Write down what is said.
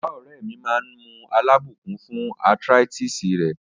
Baba ore mi maa n mu alabukun fun arthritis re